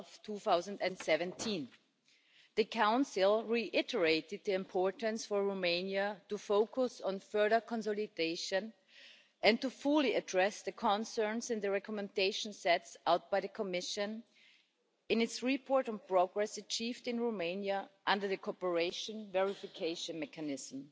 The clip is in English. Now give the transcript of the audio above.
2017. The Council reiterated the importance for Romania of focusing on further consolidation and fully addressing the concerns in the recommendations set out by the Commission in its report on progress achieved in Romania under the Cooperation and Verification Mechanism.